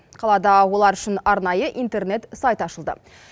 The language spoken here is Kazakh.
қалада олар үшін арнайы интернет сайт ашылды